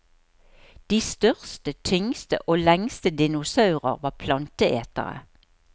De største, tyngste og lengste dinosaurer var planteetere.